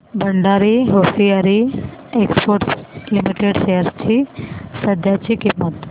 Bhandari Hosiery Exports Limited shares ची सध्याची किंमत